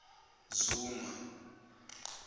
zuma